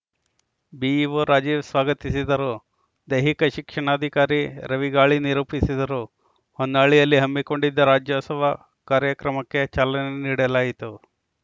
BEO Rajeev ಸ್ವಾಗತಿಸಿದರು ದೈಹಿಕ ಶಿಕ್ಷಣಾಧಿಕಾರಿ ರವಿಗಾಳಿ ನಿರೂಪಿಸಿದರು ಹೊನ್ನಾಳಿಯಲ್ಲಿ ಹಮ್ಮಿಕೊಂಡಿದ್ದ ರಾಜ್ಯೋತ್ಸವ ಕಾರ‍್ಯಕ್ರಮಕ್ಕೆ ಚಾಲನೆ ನೀಡಲಾಯಿತು